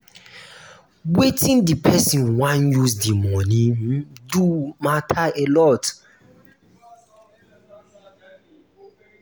wetin di person wan use di money um do matter alot